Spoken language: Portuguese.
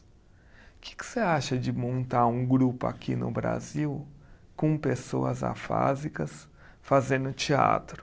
O que que você acha de montar um grupo aqui no Brasil com pessoas afásicas fazendo teatro?